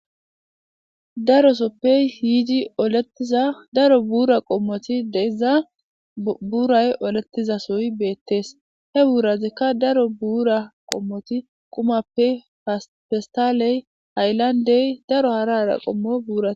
Darosoppe hiidi oletiza daro bura qommoti deiza buuray olettiza soy beettees he buurazikka daro buura qommoti qumappe festaaley hayllandey daro harara qommo buura.